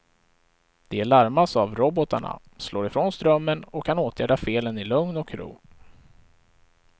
De larmas av robotarna, slår ifrån strömmen och kan åtgärda felen i lugn och ro.